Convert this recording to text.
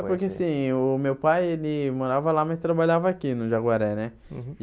É porque, assim, o meu pai, ele morava lá, mas trabalhava aqui no Jaguaré, né? Uhum